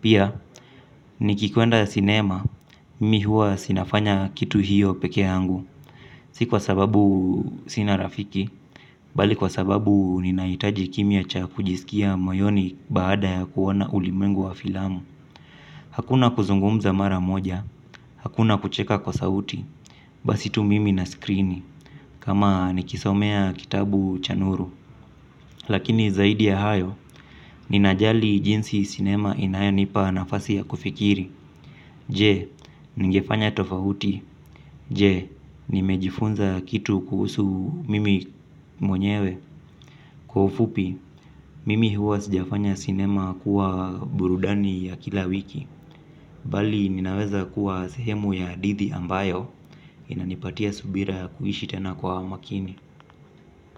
Pia, nikikwenda sinema, mi hua si nafanya kitu hiyo peke yangu. Si kwa sababu sina rafiki, bali kwa sababu ninaitaji kimya cha kujisikia moyoni baada ya kuona ulimwengu wa filamu. Hakuna kuzungumza mara moja, hakuna kucheka kwa sauti, basi tu mimi na skrini, kama nikisomea kitabu cha nuru. Lakini zaidi ya hayo, ninajali jinsi sinema inayenipa nafasi ya kufikiri. Je, nigefanya tofahuti, je, nimejifunza kitu kuhusu mimi mwenyewe. Kwa ufupi, mimi huwa sijafanya sinema kuwa burudani ya kila wiki bali ninaweza kuwa sehemu ya hadithi ambayo inanipatia subira ya kuishi tena kwa makini.